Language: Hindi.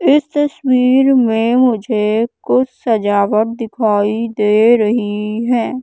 इस तस्वीर में मुझे कुछ सजावट दिखाई दे रही है।